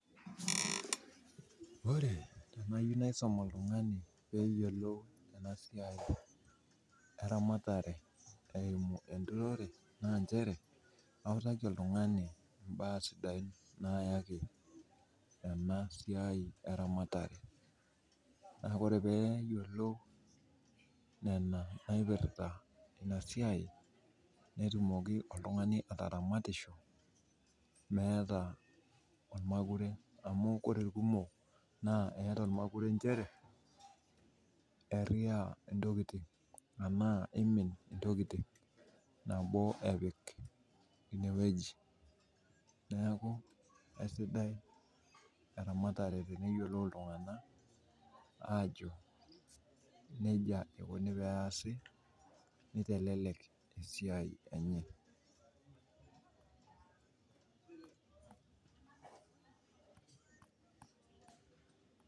Ore enaiko tenaisum oltungani ena siai eramatare eimu enturore naa nchere autaki oltungani baa sidain nyaki ena siai eramatare ,naa ore pee eyiolou nena naipirta ina siai netumoki oltungani ataramatisho meeta ormakuret amu ore irkumok neeta ormakuret nchere eiria ntokiting enaa eimin ntokiting nabo epik ineweji. neeku eisidai eramatare teneyiolou iltunganak aajo nejia eikoni pee eesi neitelelek esiai enye.